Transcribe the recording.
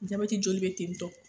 Jabati joli bɛ ten tɔ.